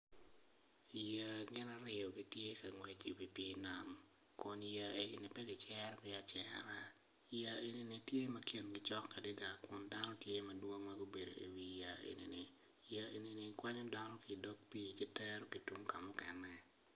Yeya gin aryo gitye ka ngwec i wi nam kun yeya egoni pe kicerogi acera yeya ego ni kingi tye acok adada dok dano gitye gubedo i wigi yeya eni gikwanyo dno ki i dog pii gitero kamukene.